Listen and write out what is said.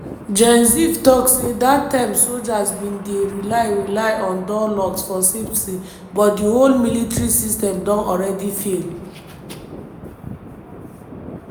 gen ziv tok say dat time sojas bin dey rely rely on door locks for safety but di whole military system don alreadi fail.